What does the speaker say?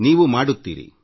ನೀವೂ ಮಾಡಬಲ್ಲಿರಿ